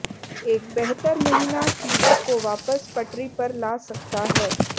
एक बेहतर महीना चीजों को वापस पटरी पर ला सकता है